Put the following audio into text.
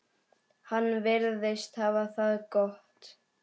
Hann virðist hafa það gott.